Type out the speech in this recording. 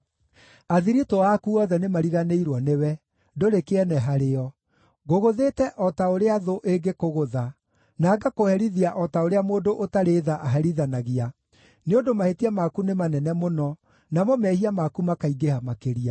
Athiritũ aku othe nĩmariganĩirwo nĩwe; ndũrĩ kĩene harĩo. Ngũgũthĩte o ta ũrĩa thũ ĩngĩkũgũtha, na ngaakũherithia o ta ũrĩa mũndũ ũtarĩ tha aherithanagia, nĩ ũndũ mahĩtia maku nĩ manene mũno, namo mehia maku makaingĩha makĩria.